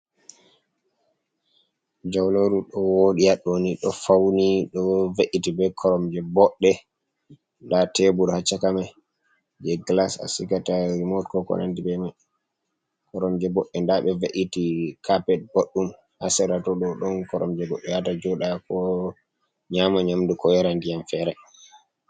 Jauleru ɗo woɗi haɗɗoni, ɗo fauni, ɗo ve’iti be Koromje boɗɗe. Nda Tebur ha chaka mai, je Gilas a sigata rimot ko konandi be mai. Koromje boɗɗe nda ɓe ve’iti Kapet boɗɗum ha sera toɗo don koromje goɗɗo yahata joɗa, ko nƴama Nƴamdu ko yara Ndiyam fere.